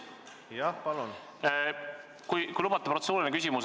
Jah, palun!